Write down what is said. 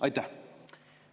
Aitäh!